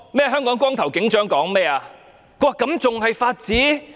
"香港光頭警長"對此有何看法呢？